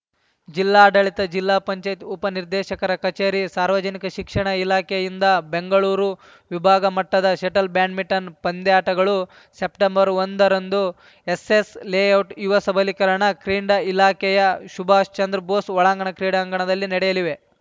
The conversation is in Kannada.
ಜಿಲ್ಲಾಡಳಿತ ಜಿಲ್ಲಾ ಪಂಚಾಯತ್ ಉಪ ನಿರ್ದೆಶಕರ ಕಚೇರಿ ಸಾರ್ವಜನಿಕ ಶಿಕ್ಷಣ ಇಲಾಕೆಯಿಂದ ಬೆಂಗಳೂರು ವಿಭಾಗ ಮಟ್ಟದ ಷಟಲ್‌ ಬ್ಯಾಂಟ್‌ಮಿಂಟನ್‌ ಪಂದ್ಯಾಟಗಳು ಸೆಪ್ಟೆಂಬರ್ ಒಂದರಂದು ಎಸ್ಸೆಸ್‌ ಲೇಔಟ್‌ ಯುವ ಸಬಲೀಕರಣ ಕ್ರೀಡಾ ಇಲಾಖೆಯ ಸುಭಾಷ್‌ ಚಂದ್ರ ಬೋಸ್‌ ಒಳಾಂಗಣ ಕ್ರೀಡಾಂಗಣದಲ್ಲಿ ನಡೆಯಲಿವೆ